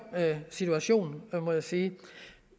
situation må jeg sige